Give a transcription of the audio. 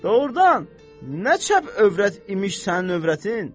Doğrudan, nə çəp övrət imiş sənin övrətin?